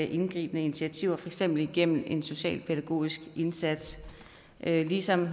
indgribende initiativer for eksempel igennem en socialpædagogisk indsats ligesom